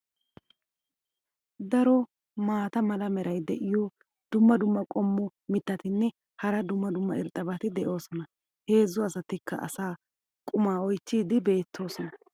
daro maata mala meray diyo dumma dumma qommo mitattinne hara dumma dumma irxxabati de'oosona. heezzu asatikka asaa qumaa oychchiidi beetoosona.